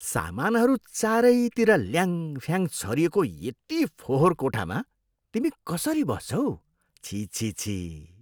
सामानहरू चारैतिर ल्याङफ्याङ छरिएको यति फोहोर कोठामा तिमी कसरी बस्छौ? छिः छिः छिः।